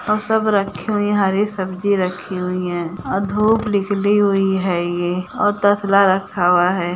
और सब रखी हुई हरी सब्जी रखी हुई है और धूप निकली हुई है ये और तसला रखा हुआ है।